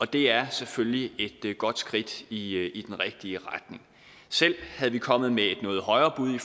det er selvfølgelig et godt skridt i i den rigtige retning selv havde vi kommet med et noget højere bud